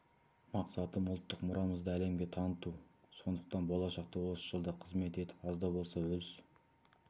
мақсатым ұлттық мұрамызды әлемге таныту сондықтан болашақта осы жолда қызмет етіп аз да болса өз